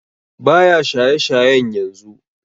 Baya shaye shayen yanzu